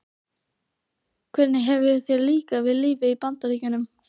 Hvernig hefur þér líkað við lífið í Bandaríkjunum?